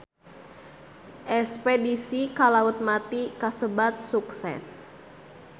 Espedisi ka Laut Mati kasebat sukses